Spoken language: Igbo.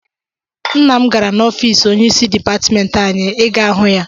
Nna m gara n'ọfiisi onyeisi dipatịmentị anyị ị gaa hụ ya.